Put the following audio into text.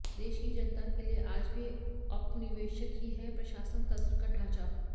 देश की जनता के लिये आज भी औपनिवेशिक ही है प्रशासन तंत्र का ढांचा